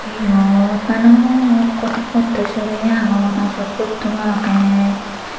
eyot balokun budho subi agon Ashok budho agey.